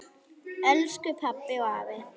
Elsku pabbi og afi.